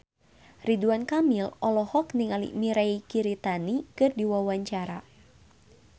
Ridwan Kamil olohok ningali Mirei Kiritani keur diwawancara